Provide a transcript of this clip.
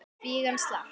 Kvígan slapp.